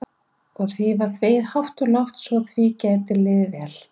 Og því er þvegið hátt og lágt svo því geti liðið vel.